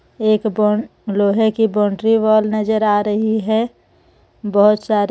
एक बोन लोहे की बॉउंड्री वॉल नजर आ रही हे बोहोत सारे--